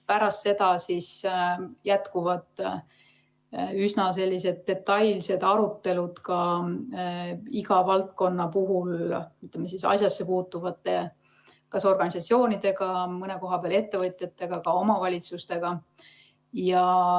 Pärast seda jätkuvad üsna detailsed arutelud ka iga valdkonna puhul, ütleme, asjasse puutuvate organisatsioonidega, mõne koha peal ettevõtjatega, ka omavalitsustega.